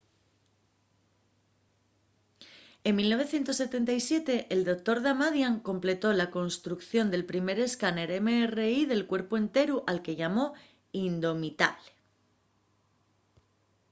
en 1977 el dr. damadian completó la construcción del primer escáner mri de cuerpu-enteru” al que llamó indomitable